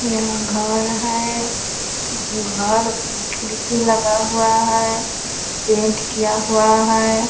यह घर है। घर में खिड़की लगा हुआ है। पेंट किया हुआ है।